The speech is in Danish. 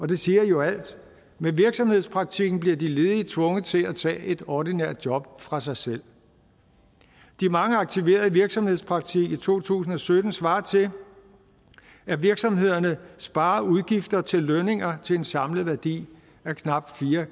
det siger jo alt med virksomhedspraktikken bliver de ledige tvunget til at tage et ordinært job fra sig selv de mange aktiverede i virksomhedspraktik i to tusind og sytten svarer til at virksomhederne sparer udgifter til lønninger til en samlet værdi af knap fire